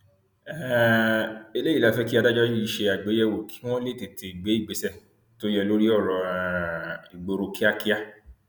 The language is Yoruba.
um eléyìí la fẹ kí adájọ yìí ṣe àgbéyẹwò kí wọn lè tètè gbé ìgbésẹ tó yẹ lórí ọrọ um ìgboro kíákíá